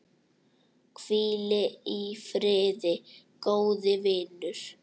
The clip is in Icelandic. Hvíl í friði, góði vinur.